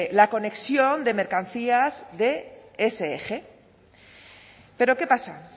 la conexión de mercancías de ese eje pero qué pasa